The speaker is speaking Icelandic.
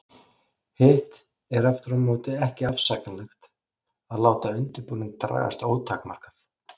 Hitt er aftur á móti ekki afsakanlegt að láta undirbúning dragast ótakmarkað.